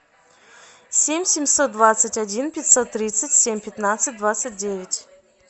семь семьсот двадцать один пятьсот тридцать семь пятнадцать двадцать девять